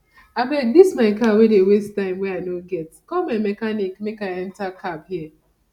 abeg dis my car dey waste time wey i no get call my mechanic make i enter cab here